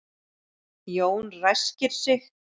Jón ræskir sig.